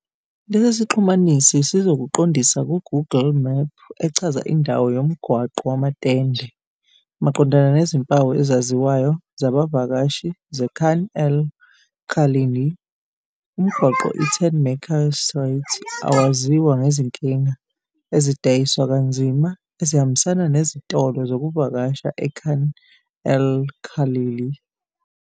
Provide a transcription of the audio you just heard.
Lesi sixhumanisi sizokuqondisa ku-Google Map echaza indawo yoMgwaqo Wamatende, maqondana nezimpawu ezaziwayo zabavakashi zeKhan el-Khalili. Umgwaqo iTentmaker's Street awaziwa ngezinkinga ezidayiswa kanzima ezihambisana nezitolo zokuvakasha eKhan el-Khalili.